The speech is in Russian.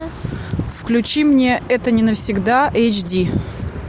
включи мне это не навсегда эйч ди